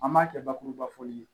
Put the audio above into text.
An b'a kɛ bakurubafɔli ye